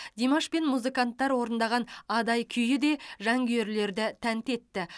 димаш пен музыканттар орындаған адай күйі де жанкүйерлерді тәнті етті